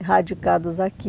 Erradicados aqui.